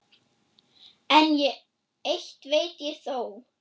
En eitt veit ég þó.